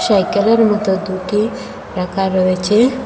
সাইকেলের মতো দুটি রাকা রয়েচে।